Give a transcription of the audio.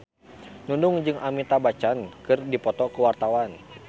Nunung jeung Amitabh Bachchan keur dipoto ku wartawan